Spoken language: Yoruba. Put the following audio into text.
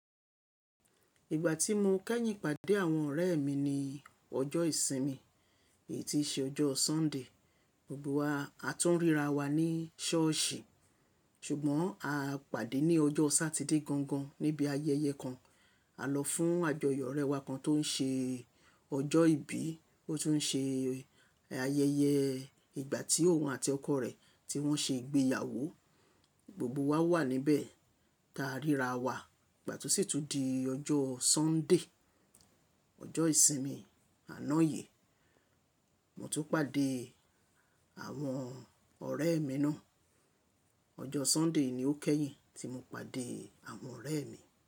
Ìgbà tí mo kẹ́yìn pàdé àwọn ọ̀rẹ́ mi ni ọjọ́ ìsinmi, èyí ti ṣe ọjọ́ Sunday. Gbogbo wa a tún ríra wa ní sọ́ọ̀sì, ṣùgbọ́n a pàdé ní ọjọ́ Satideé gangan níbi ayẹyẹ kan. A lọ fún àjọyọ̀ ọ̀rẹ́ wa kan tó ń ṣe ọjọ́ ìbí, ó tún ṣe ayẹyẹ ìgbà tí òun àti ọkọ rẹ̀ tí wọ́n ṣe ìgbéyàwó. Gbogbo wa wà níbẹ̀ ta ríra wa, ìgbà tí ó sì tún di ọjọ́ Sunday, ọjọ́ ìsinmi àná yìí, mo tún pàdé àwọn ọ̀rẹ́ mi náà. Ọjọ́ Sunday ni ó kẹ́yìn tí mo pàdé àwọn ọ̀rẹ́ mi.